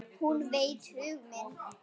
Hún veit hug minn.